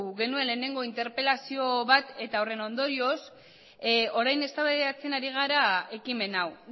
genuen interpelazio bat eta horren ondorioz orain eztabaidatzen ari gara ekimen hau